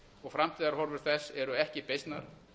og framtíðarhorfur þess eru ekki beysnar